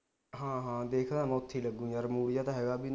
ਹਾਂ ਹਾਂ ਦੇਖ ਲਾ ਮੈਂ ਉਥੇ ਲੱਗੂ ਯਾਰ mood ਜਾ ਤਾ ਹੇਗਾ ਬਾਈ